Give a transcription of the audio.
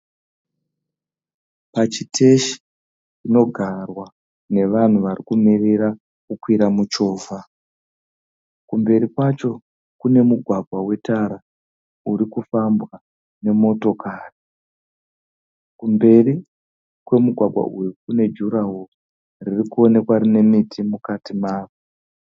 Pachiteshi panogarwa nevanhu vari kumirira kukwira muchovha. Kumberi kwacho kune mugwagwa wetara uri kufambwa nemotokari. Kumberi kwemugwagwa uyu kune juraho riri kuoonekwa rine miti mukati maro.